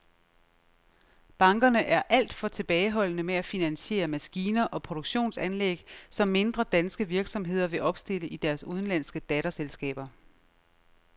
Bankerne er alt for tilbageholdende med at finansiere maskiner og produktionsanlæg, som mindre danske virksomheder vil opstille i deres udenlandske datterselskaber.